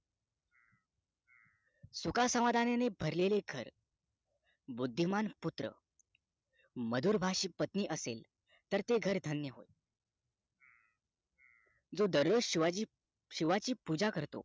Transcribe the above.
सुखा समाधानाने भरलेले घर बुद्धीमान पुत्र मधुरभाषित पत्नी असेल तर ते घर धन्य जो दररोज शिवाची पूजा करतो